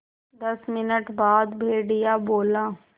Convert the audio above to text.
दस मिनट बाद भेड़िया बोला